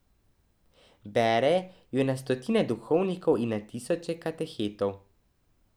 Bere jo na stotine duhovnikov in na tisoče katehetov.